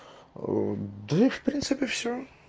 да в принципе всё